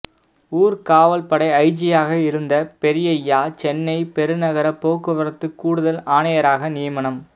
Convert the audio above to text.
ஊர்க்காவல்படை ஐஜியாக இருந்த பெரியய்யா சென்னை பெருநகர போக்குவரத்து கூடுதல் ஆணையராக நியமனம்